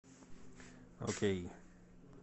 окей